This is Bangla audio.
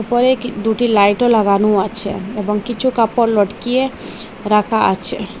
উপরে কি দুটি লাইটও লাগানো আছে এবং কিছু কাপড় লটকিয়ে রাখা আছে।